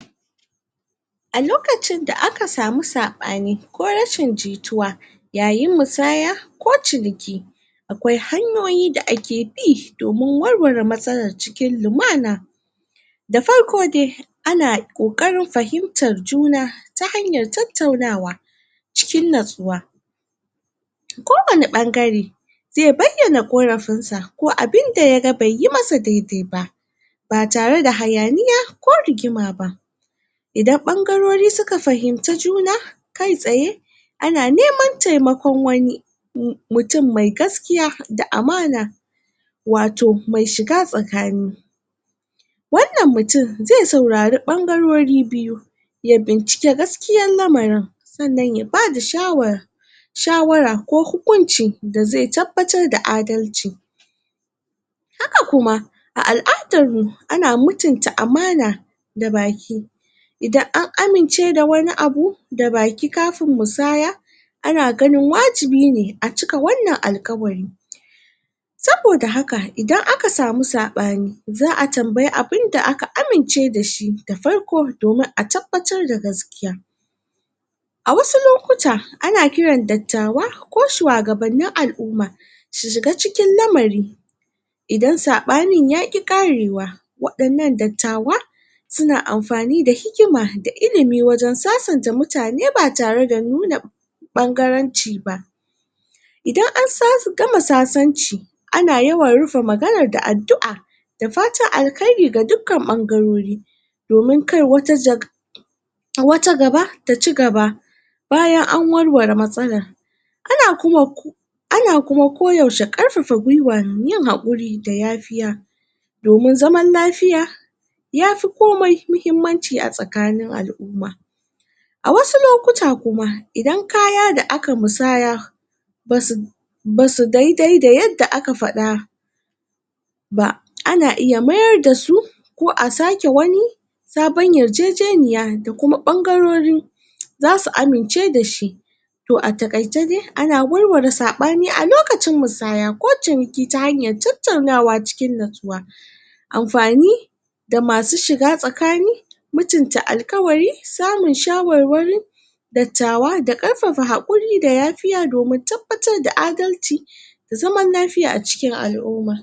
a lokacin da aka samu saɓani ko rashin jituwa yayin musaya ko ciniki akwai hanyoyi da ake bi domin warware matsalar cikin lumana da farko dai ana ƙoƙarin fahimtar juna ta hanyar tattaunawa cikin natsuwa? kowane ɓangare zai bayyana ƙorafinsa ko abin da yaga bai yi masa dai dai ba ba tare da hayaniya ko rigima ba idan ɓangarori suka fahimci juna kai tsaye ana neman taimakon wani mu mutum mai gaskiya da amana wato mai shiga tsakani wannan mutum zai sauarari ɓangarori biyu ya bincike gaskiyar lamarin sannan ya bada shawar shawara ko hukunci da zai tabbatar da adalci haka kuma a al'adarmu ana mutunta amana da baki idan an amince da wani abu da baki kafin musaya ana ganin wajibi ne a cika wannan alƙawari? saboda haka idan aka samu saɓani za'a tambayi abinda aka amince dashi da farko domin a tabbatar da gaskiya a wasu lokuta ana kiran dattawa ko shuwagabannin alu'umma su shiga cikin lamari idan saɓanin yaƙi ƙarewa waɗannan dattawa suna anfani da hikima da ilimi wajen sasanta mutane ba tare da nuna ɓangaranci ba idan an gama sasanci ana yawan rufe maganar da addu'a da fatan alkairi ga dukkan ɓangarori domin kai wata jaka? a wata gaba ta cigaba bayan an warware matsalar ana kuma ana kuma koyaushe ƙarfafa gwiwar yin haƙuri da yafiya domin zaman lafiya yafi komai mahimmanci a tsakanin al'umma a wasu lokuta kuma idan kaya da aka musaya basu basu dai dai da yadda aka faɗa ba ana iya mayar dasu ko a sake wani sabon yarjejeniya da kuma ɓangarori? zasu amince dashi to a taƙaice dai ana warware saɓani a lokacin musaya ko ciniki ta hanyar tattaunawa cikin natsuwa anfani da masu shiga tsakani, mutunta alƙawari, samun shawarwari dattawa da ƙarfafa haƙuri da yafiya domin tabbatar da adalci zaman lafiya a cikin al'uma